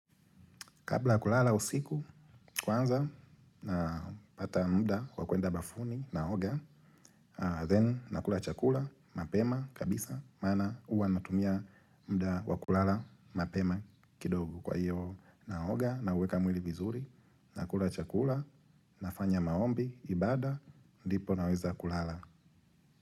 Kabla kulala usiku kwanza napata muda wa kwenda bafuni naoga, then nakula chakula mapema kabisa maana huwa natumia muda wa kulala mapema kidogo kwa hiyo naoga na uweka mwili vizuri nakula chakula nafanya maombi ibada ndipo naweza kulala.